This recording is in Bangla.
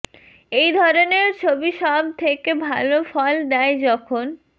এই ধরনের ছবি সব থেকে ভাল ফল দেয় যখন